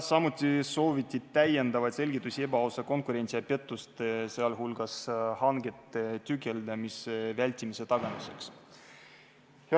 Samuti sooviti saada lisaselgitusi ebaausa konkurentsi ja pettuste, sh hangete tükeldamise vältimise tagamise kohta.